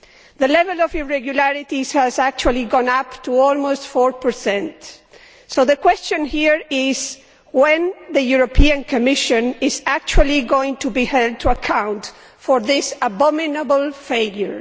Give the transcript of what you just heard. The level of irregularities has actually gone up to almost 4, so the question here is when is the European Commission actually going to be held to account for this abominable failure?